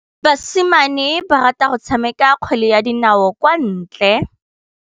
Basimane ba rata go tshameka kgwele ya dinaô kwa ntle.